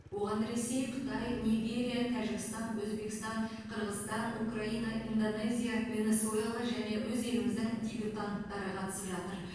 оған ресей қытай нигерия тәжікстан өзбекстан қырғызстан украина индонезия венесуэла және өз еліміздің дебютанттары қатысып жатыр